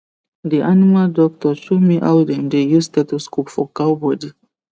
the animal doctor show me how dem dey use stethoscope for cow body